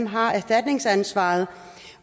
har erstatningsansvaret